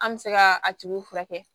An bɛ se ka a tigi furakɛ